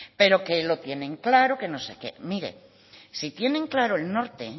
pero que lo tienen claro que no sé qué mire si tienen claro el norte